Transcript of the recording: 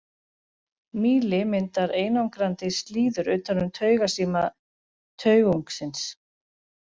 Mýli myndar einangrandi slíður utan um taugasíma taugungsins.